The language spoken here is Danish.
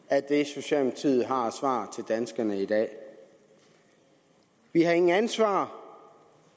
af det socialdemokratiet har af svar til danskerne i dag vi har ingen ansvar